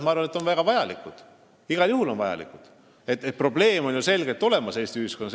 Ma arvan, et need on igal juhul väga vajalikud – probleem on ju Eesti ühiskonnas selgelt olemas.